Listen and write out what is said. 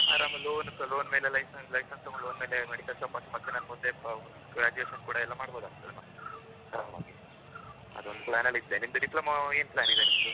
ಆರಾಮ loan loan ಮೇಲೆ license, license ತಗೊಂಡ್ ಮೇಲೆ medical shop ಹಾಕಿ ಮುಂದೆ ಎಲ್ಲಾ ಮುಂದೆ graduation ಕೂಡ ಮಾಡಬೋದಲ್ವಾ ಅದೊಂದು plan ಅಲ್ಲಿ ಇದ್ದೇ. ನಿಮ್ದು diploma ಏನು plan ಇದೆ?